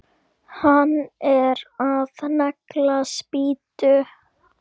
Hann er að negla spýtu.